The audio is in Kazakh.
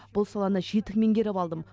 бұл саланы жетік меңгеріп алдым